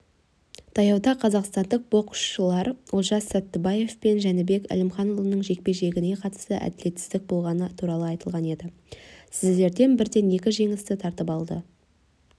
таяуда қазақстандық боксшылар олжас саттыбаев пен жәнібек әлімханұлының жекпе-жегіне қатысты әділетсіздік болғаны туралы айтылған еді сіздерден бірден екі жеңісті тартылып алынды